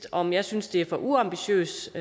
om jeg synes det er for ambitiøst